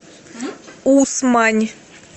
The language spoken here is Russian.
усмань